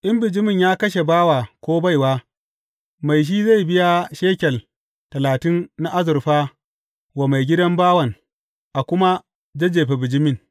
In bijimin ya kashe bawa ko baiwa, mai shi zai biya shekel talatin na azurfa wa maigidan bawan, a kuma a jajjefe bijimin.